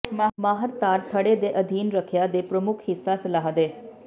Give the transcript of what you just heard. ਮਾਹਰ ਤਾਰ ਥੜ੍ਹੇ ਦੇ ਅਧੀਨ ਰੱਖਿਆ ਦੇ ਪ੍ਰਮੁੱਖ ਹਿੱਸਾ ਸਲਾਹ ਦੇ